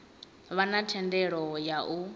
vha na thendelo ya u